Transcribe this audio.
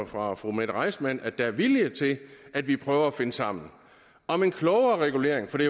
fra fru mette reissmann at der er vilje til at vi prøver at finde sammen om en klogere regulering for det